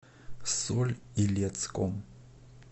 соль илецком